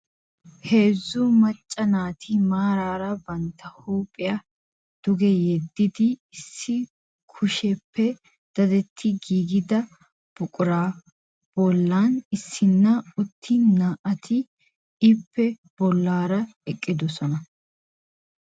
Heezzu macca naati maaraara bantta huuphiya duge yeddidi issi kushiyappe dadettidi giigida buquraa bollan issinna uttin naa'ati ippe bollaara eqqidosona.